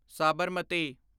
Sabarmati